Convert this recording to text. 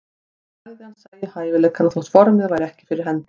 Hann sagði að hann sæi hæfileikana þótt formið væri ekki fyrir hendi.